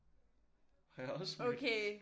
Har jeg også mødt